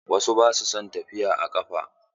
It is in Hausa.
Wasu ba su son tafiya a ƙafa.